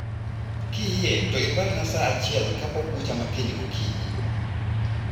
Kiyie to iparna saa achiel kapok bucha ma kiny gokininyi.